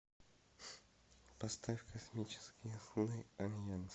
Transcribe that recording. поставь космические сны альянс